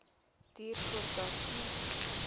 duur voordat u